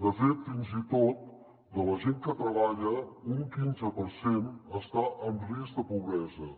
de fet fins i tot de la gent que treballa un quinze per cent està en risc de pobresa